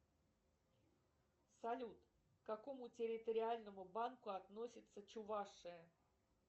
салют к какому территориальному банку относится чувашия